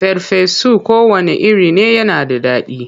Farfesu kowanne iri ne yana da daɗi.